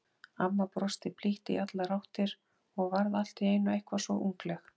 Amma brosti blítt í allar áttir og varð allt í einu eitthvað svo ungleg.